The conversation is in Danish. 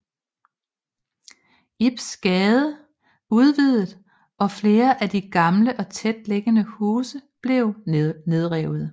Ibs Gade udvidet og flere af de gamle og tætliggende huse blev nedrevet